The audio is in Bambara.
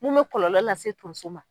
Mun bɛ kɔlɔlɔ lase tonso ma